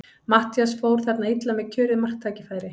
Matthías fór þarna illa með kjörið marktækifæri.